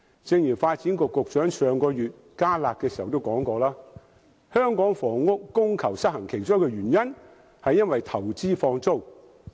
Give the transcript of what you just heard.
正如發展局局長在上月推出"加辣"措施時指出，香港房屋供求失衡其中一個原因是投資放租。